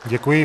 Děkuji.